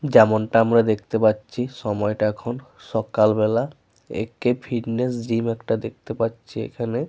যেমনটা আমরা দেখতে পাচ্ছি সময়টা এখন সকালবেলা। এ.কে. ফিটনেস জিম একটা দেখতে পাচ্ছি এখানে।